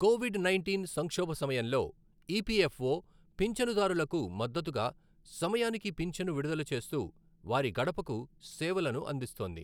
Covid nineteen సంక్షోభ సమయంలో EPFO పింఛనుదారులకు మద్దతుగా సమయానికి పింఛను విడుదల చేస్తూ, వారి గడపకు సేవలను అందిస్తోంది.